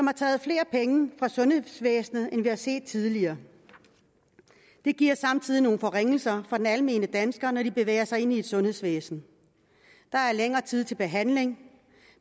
har taget flere penge fra sundhedsvæsenet end vi har set det tidligere det giver samtidig nogle forringelser for den almindelige dansker når vedkommende bevæger sig ind i sundhedsvæsenet der er længere tid til behandling